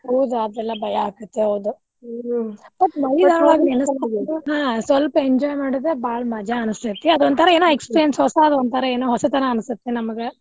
ಹೌದ ಅದೆಲ್ಲಾ ಭಯ ಆಗುತ್ತ ಹೌದ ಹಾ ಸ್ವಲ್ಪ್ enjoy ಮಾಡಿದ್ರ್ ಬಾಳ ಮಜಾ ಅನಿಸ್ತೇತ ಅದೊಂಥರಾ ಏನೋ ಹೊಸಾದ ಏನೋ ಹೊಸತರ ಅನಿಸತ್ತ್ ನಮಗ.